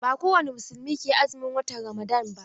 Ba kowani musulmi ke azumin watan Ramadan ba.